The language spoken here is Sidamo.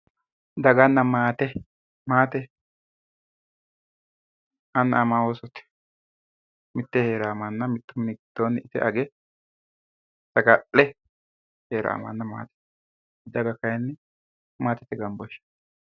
Daganna maate, maate annu ama Ooste, mitteenni hee'rawo mannaati, mittu mini giddo hee'rannore ite age saga'le hee'rawo mannaati, daga kayi maatete gambooshsheeti.